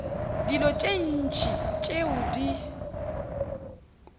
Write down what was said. dilo tše ntši tšeo di